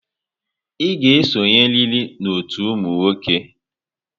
Ị ga-esonyerịrị n'ọtú ụmụ nwoke!